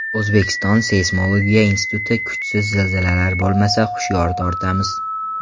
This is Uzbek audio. O‘zbekiston Seysmologiya instituti: Kuchsiz zilzilalar bo‘lmasa, hushyor tortamiz .